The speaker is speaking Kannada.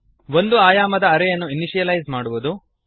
ಒಂದು ಆಯಾಮದ ಅರೇ ಯನ್ನು ಇನಶಿಯಲೈಸ್ ಮಾಡುವುದು